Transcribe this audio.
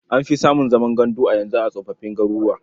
An fi samun zaman gandu a yanzu a tsofoffin garuruwa.